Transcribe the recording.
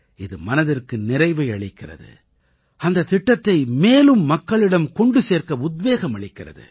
இது மனதிற்கு நிறைவை அளிக்கிறது அந்தத் திட்டத்தை மேலும் மக்களிடம் கொண்டு சேர்க்க உத்வேகம் அளிக்கிறது